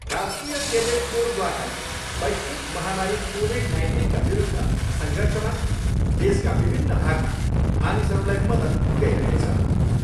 राष्ट्रिय केडेट कोरद्वारा वैश्विक महामारी कोभिड नाइन्टिनका विरूद्ध सङ्घर्षमा देशका विभिन्न भागमा मानिसहरूलाई मद्दत पुऱ्याइरहेछ।